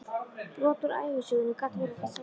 Brot úr ævisögunni gat verið á þessa leið